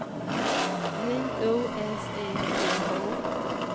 J O S E P H